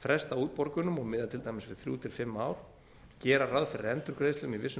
fresta útborgunum og miða til dæmis við þrjú til fimm ár gera ráð fyrir endurgreiðslum í vissum